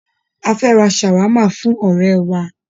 A fẹ́ ra ṣàwámà fún ọ̀rẹ́ẹ wa.